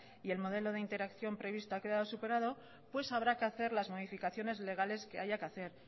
y el modelo de interacción previsto ha quedado superado habrá que hacer las modificaciones legales que haya que hacer